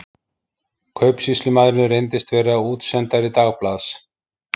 Kaupsýslumaðurinn reyndist vera útsendari dagblaðs